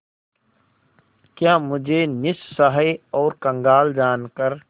क्या मुझे निस्सहाय और कंगाल जानकर